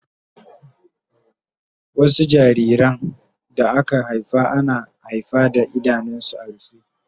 Wasu jariran da aka haifa ana haifa da idanunsu a rufe